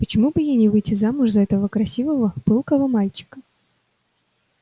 почему бы ей не выйти замуж за этого красивого пылкого мальчика